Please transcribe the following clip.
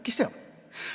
Kes teab!